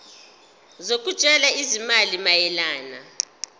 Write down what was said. zokutshala izimali mayelana